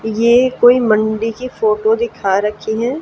ये कोई मंडी की फोटो दिखा रखी है।